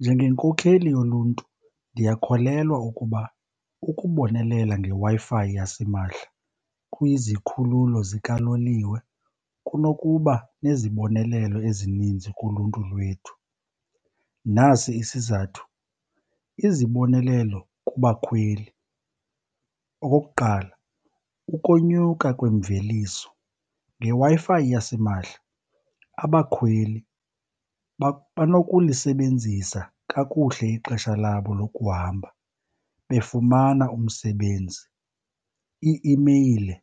Njengenkokheli yoluntu ndiyakholelwa ukuba ukubonelela ngeWi-Fi yasimahla kwizikhululo zikaloliwe kunokuba nezibonelelo ezininzi kuluntu lwethu. Nasi isizathu, izibonelelo kubakhweli okukuqala, ukonyuka kwemveliso. NgeWi-Fi yasimahla abakhweli banokulisebenzisa kakuhle ixesha labo lokuhamba befumana umsebenzi, ii-imeyile